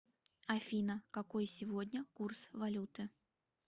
афина какой сегодня курс валюты